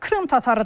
Krım tatarıdır.